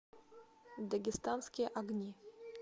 дагестанские огни